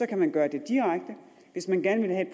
kan man gøre det direkte hvis man gerne